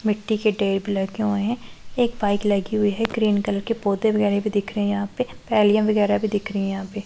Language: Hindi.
मिट्टी के टेप लटके हुए हैं एक बाइक लगी हुई है ग्रीन कलर के पौधे वगैरह भी दिख रहे हैं यहां पे थैलियां वगैरह भी दिख रही हैं यहां पे।